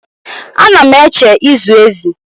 Ana m eche ịzụ ezi